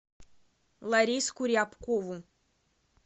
лариску рябкову